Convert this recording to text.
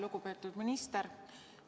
Lugupeetud minister!